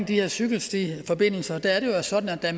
de her cykelstiforbindelser der er det jo sådan at da